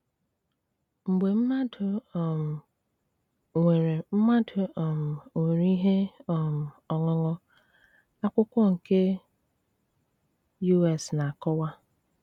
Mgbe mmadụ um nwere mmadụ um nwere ihe um ọṅụṅụ, akwụkwọ nke U.S. na-akọwa.